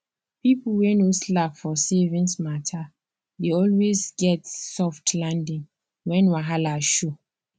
people wey no slack for savings mata dey always get soft landing when wahala show